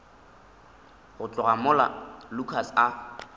go tloga mola lukas a